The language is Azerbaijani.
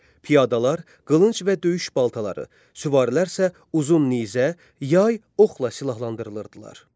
Piyadalar qılınc və döyüş baltaları, süvarilər isə uzun nizə, yay, oxla silahlanırdılar.